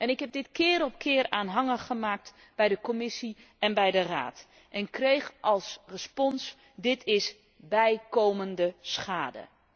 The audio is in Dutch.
Ik heb dit keer op keer aanhangig gemaakt bij de Commissie en de Raad en kreeg als respons dit is bijkomende schade.